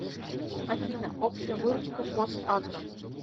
афина общая выручка фосагро